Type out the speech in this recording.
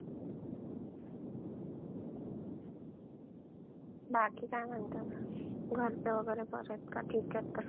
बाकी काय म्हणतेस? घरचे वगैरे बरे आहेत का, ठीक आहेत का सगळे?